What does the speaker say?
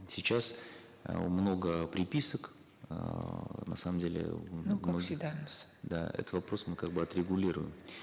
сейчас э много приписок эээ на самом деле э ну как всегда у нас да этот вопрос мы как бы отрегулируем